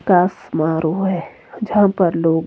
का समारोह है जहां पर लोग--